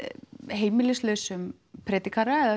heimilislausum predikara eða